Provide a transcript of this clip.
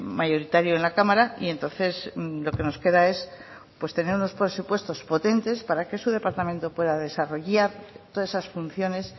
mayoritario en la cámara y entonces lo que nos queda es tener unos presupuestos potentes para que su departamento pueda desarrollar todas esas funciones